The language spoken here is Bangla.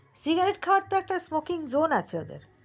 cigarette খাওয়া তো একটা spoken zoon আছে ওদের